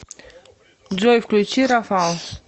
джой включи рафал